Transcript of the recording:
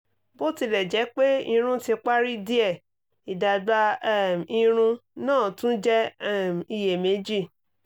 bó tilẹ̀ jẹ́ pé irun ti parí díẹ̀ ìdàgbà um irun náà tún jẹ́ um iyèméjì